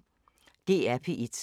DR P1